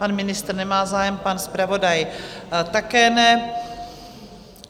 Pan ministr nemá zájem, pan zpravodaj také ne.